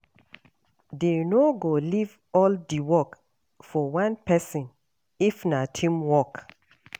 Dey no go leave all di work for one pesin if na teamwork.